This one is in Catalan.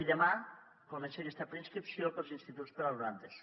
i demà comença aquesta preinscripció per als instituts per a l’alumnat d’eso